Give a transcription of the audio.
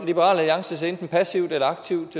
liberal alliance ser enten passivt eller aktivt